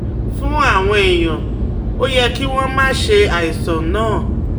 Fún àwọn èèyàn, ó yẹ kí wọ́n máa ṣe àìsàn náà